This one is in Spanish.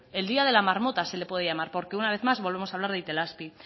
el día de la marmota se le puede llamar porque una vez más volvemos a hablar de itelazpi